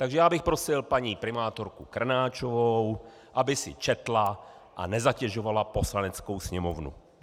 Takže já bych prosil paní primátorku Krnáčovou, aby si četla a nezatěžovala Poslaneckou sněmovnu.